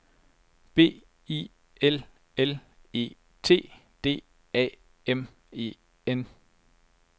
B I L L E T D A M E N